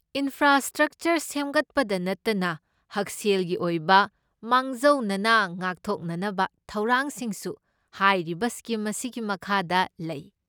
Infrastructure ꯁꯦꯝꯒꯠꯄꯗ ꯅꯠꯇꯅ, ꯍꯛꯁꯦꯜꯒꯤ ꯑꯣꯏꯕ ꯃꯥꯡꯖꯧꯅꯅ ꯉꯥꯛꯊꯣꯛꯅꯅꯕ ꯊꯧꯔꯥꯡꯁꯤꯡꯁꯨ ꯍꯥꯏꯔꯤꯕ ꯁ꯭ꯀꯤꯝ ꯑꯁꯤꯒꯤ ꯃꯈꯥꯗ ꯂꯩ꯫